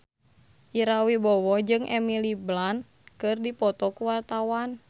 Ira Wibowo jeung Emily Blunt keur dipoto ku wartawan